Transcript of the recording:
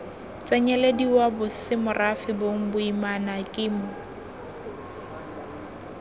tsenyelediwa bosemorafe bong boimana kemo